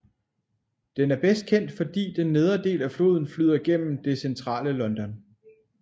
Den er bedst kendt fordi den nedre del af floden flyder gennem det Centrale London